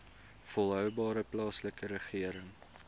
volhoubare plaaslike regering